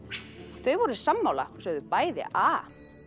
þau voru sammála og sögðu bæði a